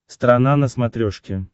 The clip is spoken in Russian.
страна на смотрешке